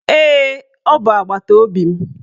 Ee, ọ bụ agbataobi m